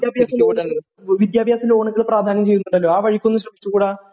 വിദ്യാഭ്യാസ ലോണുകള് വിദ്യാഭ്യാസ ലോണുകള് പ്രാധാന്യം ചെയ്യുന്നുണ്ടല്ലോ എന്തുകൊണ്ട് ആ വഴിക്കൊന്നു ശ്രമിച്ചു കൂടാ